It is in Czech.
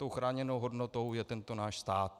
Tou chráněnou hodnotou je tento náš stát.